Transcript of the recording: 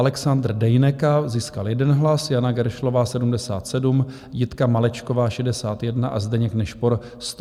Alexandr Dejneka získal 1 hlas, Jana Geršlová 77, Jitka Malečková 61 a Zdeněk Nešpor 136 hlasů.